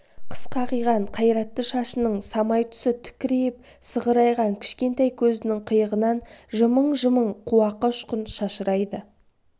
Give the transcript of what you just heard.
қысқа қиған қайратты шашының самай тұсы тікірейіп сығырайған кішкентай көзінің қиығынан жымың-жымың қуақы ұшқын шашырайды